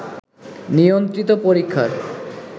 নিয়ন্ত্রিত পরীক্ষার